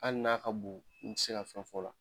Hali n'a ka bon n ti se ka fɛn fo la